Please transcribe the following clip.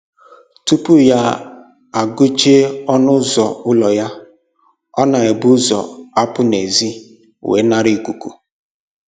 Tupu ya agụchie ọnụ ụzọ ụlọ ya, ọ na-ebu ụzọ apụ n'ezi wee nara ikuku